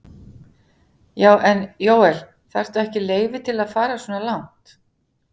Já. en Jóel, þarftu ekki leyfi til að fara svona langt?